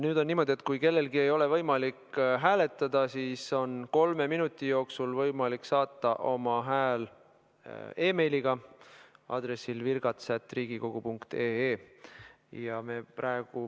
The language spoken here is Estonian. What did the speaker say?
Nüüd on niimoodi, et kui kellelgi ei ole võimalik hääletada, siis on teil kolme minuti jooksul võimalik saata oma hääl meiliga aadressil virgats@riigikogu.ee.